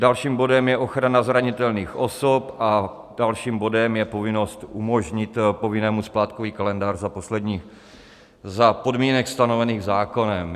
Dalším bodem je ochrana zranitelných osob a dalším bodem je povinnost umožnit povinnému splátkový kalendář za podmínek stanovených zákonem.